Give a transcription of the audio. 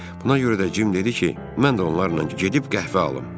Buna görə də Cim dedi ki, mən də onlarla gedib qəhvə alım.